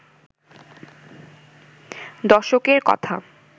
দশকের কথা